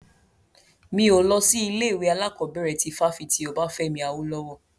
Mi ò lọ sí ilé ìwé alákọ̀bẹ̀rẹ̀ ti fáfitì Obafemi Awolowo.